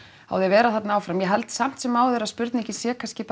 á því að vera þarna áfram ég held samt sem áður að spurningin sé kannski